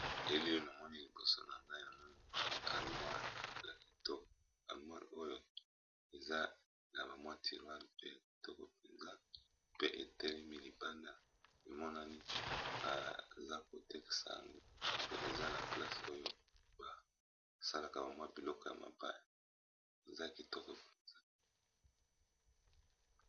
Elili na moni liboso na nga ya nombo alemoire, oyo eza na bamwa tiroir pe ya kitoko mpenz,a pe etelemi libanda emonani. Baza kotekIsa yango pe eza na place oyo basalaka bamwa biloko ya mabaya eza kitoko mpenza.